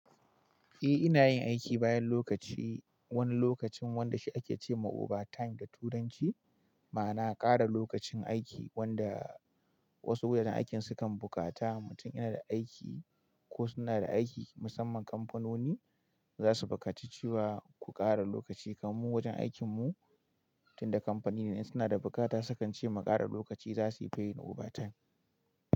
Eh, ina yin aiki bayan lokaci, wani lokacin wanda shi ake ce ma overtime da turanci. Ma'ana ƙara lokacin aiki wanda wasu wajen aikin sukan bukata, mutum yana da aiki ko suna da aiki. Musamman kamfanoni za su buƙaci cewa ku ƙara lokaci. Kaman wajen aikin mu tunda kamfani ne suna da buƙata, sukan ce mu ƙara lokaci za su yi payin overtime.